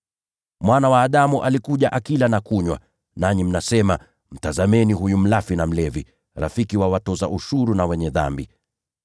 Mwana wa Adamu alikuja akila na kunywa, nanyi mnasema: ‘Tazameni huyu mlafi na mlevi, rafiki wa watoza ushuru na “wenye dhambi.” ’